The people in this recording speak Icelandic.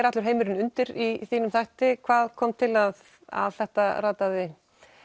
allur heimurinn undir í þínum þætti hvað kom til að að þetta rataði